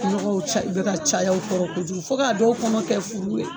Nɔgɔw ca u bɛ ka caya o kɔrɔ kojugu fo ka dɔw kɔnɔ kɛ furu ye.